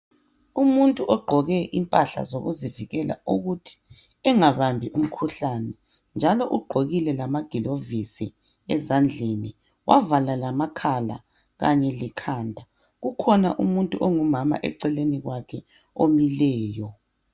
Umuntu ogqoke impahla zokuzivikela ukuthi engabambi umkhuhlani njalo ugqokile lamagilovisi ezandleni wavala lamakhala kanye lekhanda. Kukhona umuntu ongumama eceleni kwakhe omileyo.